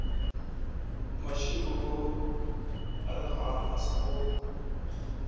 mashilo kokoago a sa go